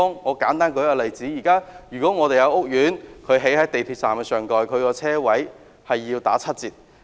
我舉一個簡單例子，一個港鐵站上蓋屋苑興建的車位數目需要打七折。